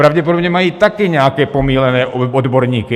Pravděpodobně mají taky nějaké pomýlené odborníky.